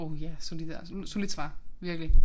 Åh ja så de der solidt svar virkelig